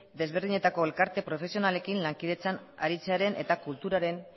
ezberdinetako elkarte profesionalekin lankidetzan aritzearen eta kulturaren